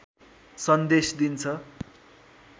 सन्देश दिन्छ